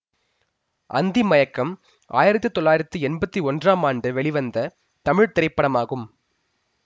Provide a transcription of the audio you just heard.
அந்தி மயக்கம் ஆயிரத்தி தொள்ளாயிரத்தி எம்பத்தி ஒன்றாம் ஆண்டு வெளிவந்த தமிழ் திரைப்படமாகும்